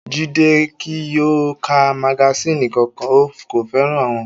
Jídé kí yóò ka magasínì kankan, kò fẹ́ràn wọn